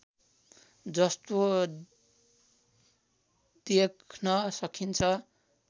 जस्तो देख्न सकिन्छ